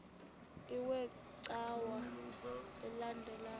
iwe cawa elandela